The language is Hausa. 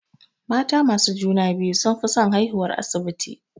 Mata masu juna-biyu sunfi son haihuwar asibiti.